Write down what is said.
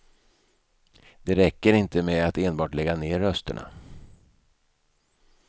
Det räcker inte med att enbart lägga ner rösterna.